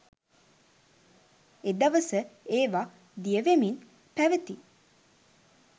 එදවස ඒවා දියවෙමින් පැවති